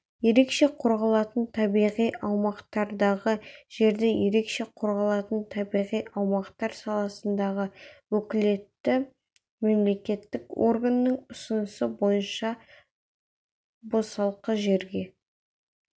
ерекше қорғалатын табиғи аумақтардағы жерді ерекше қорғалатын табиғи аумақтар саласындағы уәкілетті мемлекеттік органның ұсынысы бойынша босалқы жерге